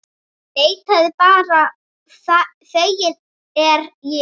Leitið bara, feginn er ég.